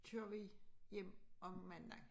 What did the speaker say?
Kører vi hjem om mandagen